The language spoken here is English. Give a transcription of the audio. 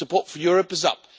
Support for Europe is up.